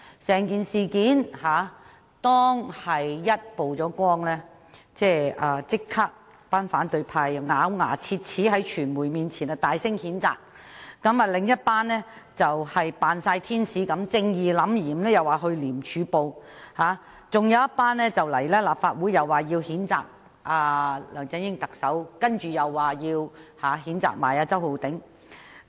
在事件曝光後，反對派立即在傳媒前咬牙切齒地大聲譴責，而另一批人則儼如天使般，正義凜然地說要向廉政公署舉報，還有一批人來到立法會譴責特首梁振英及周浩鼎議員。